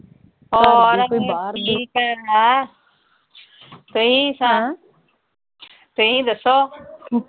ਤੁਸੀਂ। ਤੁਸੀਂ ਦੱਸੋ।